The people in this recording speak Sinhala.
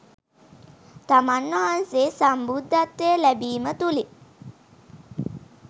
තමන් වහන්සේ සම්බුද්ධත්වය ලැබීම තුළින්